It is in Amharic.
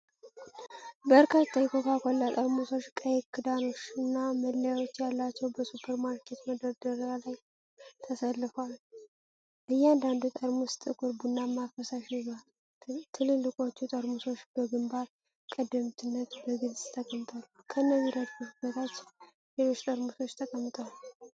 በርካታ የኮካ ኮላ ጠርሙሶች፣ ቀይ ክዳኖች እና መለያዎች ያላቸው፣ በሱፐርማርኬት መደርደሪያ ላይ ተሰልፈዋል። እያንዳንዱ ጠርሙስ ጥቁር ቡናማ ፈሳሽ ይዟል፤ ትልልቆቹ ጠርሙሶች በግንባር ቀደምትነት በግልጽ ተቀምጧል። ከእነዚህ ረድፎች በታች ሌሎች ጠርሙሶች ተቀምጠዋል።